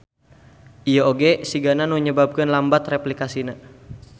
Ieu oge sigana nu nyababkeun lambat replikasina.